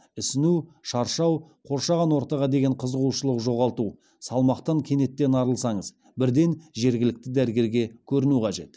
ісіну шаршау қоршаған ортаға деген қызығушылық жоғалту салмақтан кенеттен арылсаңыз бірден жергілікті дәрігерге көріну қажет